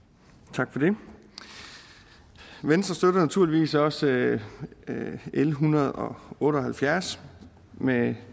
tak for det venstre støtter naturligvis også l en hundrede og otte og halvfjerds med